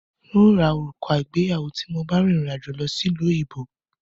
N ó ra òrùka ìgbéyàwó tí mo bá rìn rìn àjò lọ sí ìlú òyìnbó